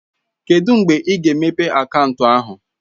Kedụ mgbe ị ga-emepe akaụntụ ahụ?